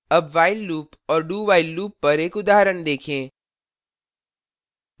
अब while loop और do while loop पर एक उदाहरण देखें